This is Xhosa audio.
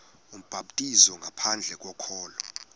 ubhaptizo ngaphandle kokholo